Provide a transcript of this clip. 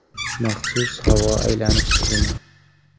Maxsus havo aylanish tizimi.